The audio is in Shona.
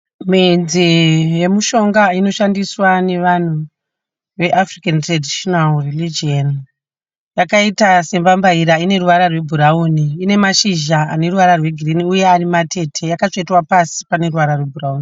Midzi yemishonga inoshandiswa nevanhu ve(traditional African religion). Yakaita sembambaira. Ine ruvara rwebhurawuni. Ine mashizha aneruvara rwegirini uye ari matete akatsvetwa pasi pane ruvara rwebhurawuni.